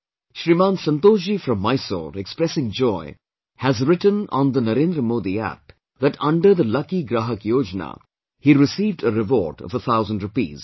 Shriman Santosh Ji from Mysore, expressing joy, has written on the NarendraModiApp that under the Lucky Grahak Yojana, he received a reward of a thousand rupees